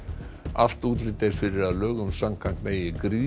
allt útlit er fyrir að lögum samkvæmt megi grýta